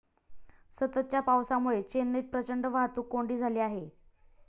सततच्या पावसामुळे चेन्नईत प्रचंड वाहतूक कोंडी झाली आहे.